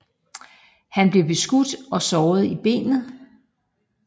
Han blev beskudt og såret i benet